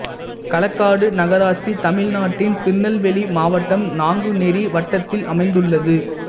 களக்காடு நகராட்சி தமிழ்நாட்டின் திருநெல்வேலி மாவட்டம் நாங்குநேரி வட்டத்தில் அமைந்துள்ளது